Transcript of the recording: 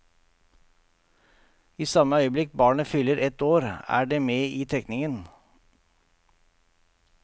I samme øyeblikk barnet fyller ett år, er det med i trekningen.